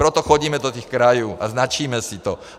Proto chodíme do těch krajů a značíme si to.